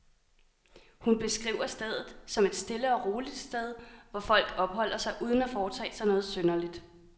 Hun beskriver stedet, som et stille og roligt sted, hvor folk opholder sig uden at foretage sig noget synderligt.